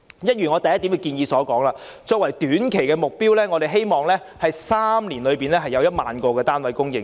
一如我在議案第一部分所述，作為短期目標，我們希望在3年內會供應1萬個單位。